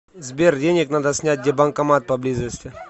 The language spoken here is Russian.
сбер денег надо снять где банкомат поблизости